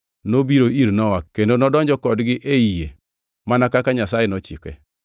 nobiro ir Nowa kendo nodonjo kodgi ei yie mana kaka Nyasaye nochike.